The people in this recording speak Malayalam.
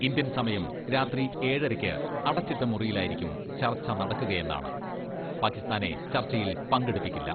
ഇന്ത്യൻ സമയം രാത്രി ഏഴരയ്ക്ക് അടച്ചിട്ട മുറിയിലായിരിക്കും ചർച്ച നടക്കുകയെന്നാണ് പാകിസ്ഥാനെ ചർച്ചയിൽ പങ്കെടുപ്പിക്കില്ല.